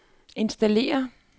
installere